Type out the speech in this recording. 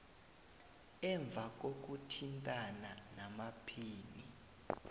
emva kokuthintana namaphini